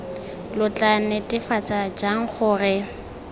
lo tla netefatsa jang gore